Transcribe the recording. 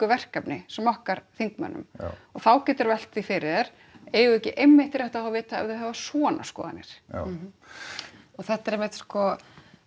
verkefni sem okkar þingmönnum og þá geturðu velt fyrir þér eigum við ekki einmitt rétt á að vita ef þau hafa svona skoðanir já og þetta er einmitt sko